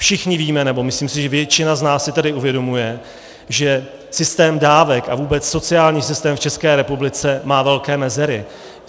Všichni víme, nebo si myslím, že většina z nás si tady uvědomuje, že systém dávek a vůbec sociální systém v České republice má velké mezery.